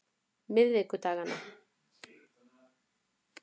miðvikudaganna